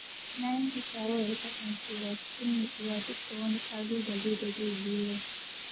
Na yanke shawarar kasancewa cikin nutsuwa duk da wani ƙalubale da zai zo yau.